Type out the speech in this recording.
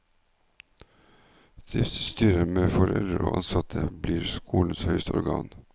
Driftsstyrer med foreldre og ansatte blir skolenes høyeste organ.